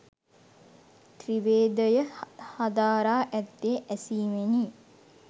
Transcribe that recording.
ත්‍රිවේදය හදාරා ඇත්තේ ඇසීමෙනි.